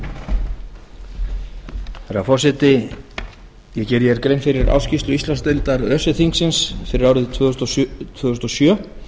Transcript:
herra forseti ég geri hér grein fyrir ársskýrslu íslandsdeildar öse þingsins fyrir árið tvö þúsund og sjö